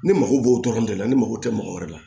Ne mago b'o tɔɔrɔ de la ne mago tɛ mɔgɔ wɛrɛ la